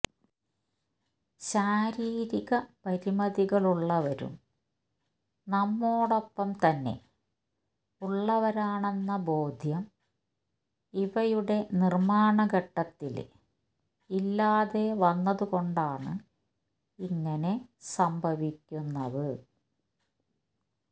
ശാരീരികപരിമിതികളുള്ളവരും നമ്മോടൊപ്പംതന്നെ ഉള്ളവരാണെന്ന ബോദ്ധ്യം ഇവയുടെ നിര്മാണഘട്ടത്തില് ഇല്ലാതെ വന്നതുകൊണ്ടാണ് ഇങ്ങനെ സംഭവിക്കുന്നത്